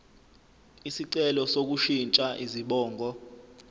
isicelo sokushintsha izibongo